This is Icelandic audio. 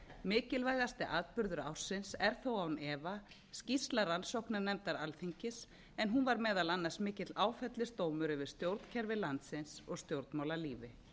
mikilvægasti atburður ársins er þó án efa skýrsla rannsóknarnefndar alþingis en hún var meðal annars mikill áfellisdómur yfir stjórnkerfi landsins og stjórnmálalífi